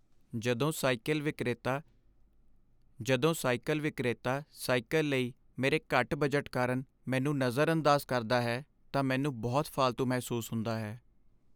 ਜਦੋਂ ਸਾਈਕਲ ਵਿਕਰੇਤਾ ਸਾਈਕਲ ਲਈ ਮੇਰੇ ਘੱਟ ਬਜਟ ਕਾਰਨ ਮੈਨੂੰ ਨਜ਼ਰਅੰਦਾਜ਼ ਕਰਦਾ ਹੈ ਤਾਂ ਮੈਨੂੰ ਬਹੁਤ ਫਾਲਤੂ ਮਹਿਸੂਸ ਹੁੰਦਾ ਹੈ।